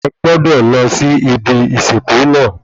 Ẹ gbọ́dọ̀ lọ sí ibi ìsìnkú náà